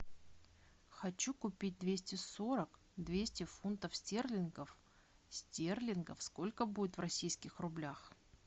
хочу купить двести сорок двести фунтов стерлингов стерлингов сколько будет в российских рублях